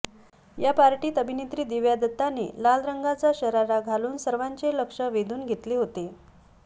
या पार्टीत अभिनेत्री दिव्या दत्ताने लाल रंगाचा शरारा घालून सर्वांचे लक्ष वेधून घेतले होते